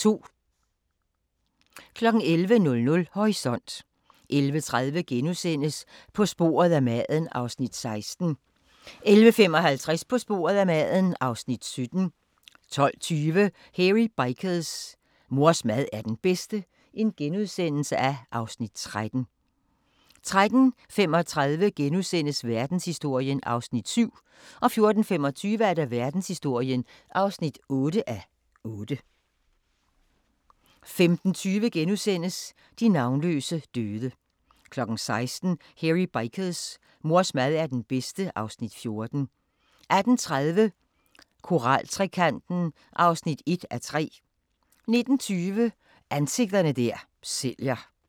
11:00: Horisont 11:30: På sporet af maden (Afs. 16)* 11:55: På sporet af maden (Afs. 17) 12:20: Hairy Bikers: Mors mad er den bedste (Afs. 13)* 13:35: Verdenshistorien (7:8)* 14:25: Verdenshistorien (8:8) 15:20: De navnløse døde * 16:00: Hairy Bikers: Mors mad er den bedste (Afs. 14) 18:30: Koraltrekanten (1:3) 19:20: Ansigter der sælger